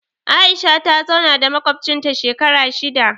Aisha ta zauna da maƙwabcinta shekara shida